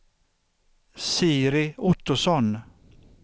Siri Ottosson